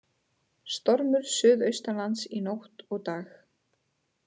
Stormur suðaustanlands í nótt og dag